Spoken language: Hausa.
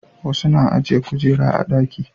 wasu na ajiye kujera a ɗaki